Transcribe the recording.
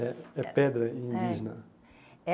É é pedra indígena. É é